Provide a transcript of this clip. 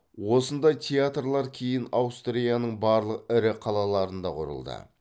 осындай театрлар кейін аустрияның барлық ірі қалаларында құрылды